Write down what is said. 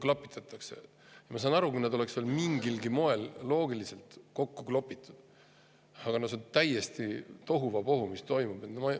Ma saaksin aru, kui need oleks veel mingilgi moel loogiliselt kokku klopsitud, aga no see, mis toimub, on täielik tohuvabohu.